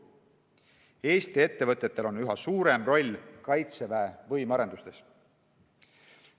Eesti ettevõtetel on üha suurem roll Kaitseväe võimearendustes.